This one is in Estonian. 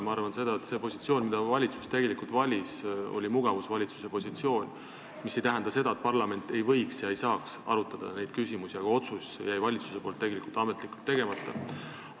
Ma arvan, et see positsioon, mille valitsus tegelikult valis, oli mugavusvalitsuse positsioon, mis ei tähenda seda, et parlament ei võiks ega saaks neid küsimusi arutada, aga otsus jäi valitsusel ametlikult tegemata.